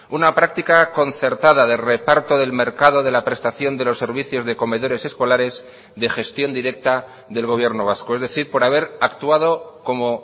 una práctica concertada de reparto del mercado de la prestación de los servicios de comedores escolares de gestión directa del gobierno vasco es decir por haber actuado como